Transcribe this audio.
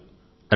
రండి